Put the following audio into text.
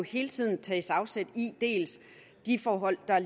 hele tiden tages afsæt i de forhold der